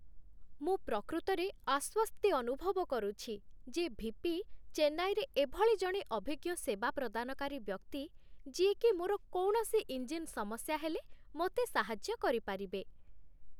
ମୁଁ ପ୍ରକୃତରେ ଆଶ୍ୱସ୍ତି ଅନୁଭବ କରୁଛି ଯେ ଭି.ପି. ଚେନ୍ନାଇରେ ଏଭଳି ଜଣେ ଅଭିଜ୍ଞ ସେବା ପ୍ରଦାନକାରୀ ବ୍ୟକ୍ତି, ଯିଏକି ମୋର କୌଣସି ଇଞ୍ଜିନ୍ ସମସ୍ୟା ହେଲେ ମୋତେ ସାହାଯ୍ୟ କରିପାରିବେ